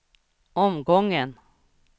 omgången